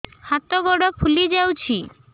ହାତ ଗୋଡ଼ ଫୁଲି ଯାଉଛି